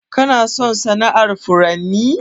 Kana son sana'ar furanni?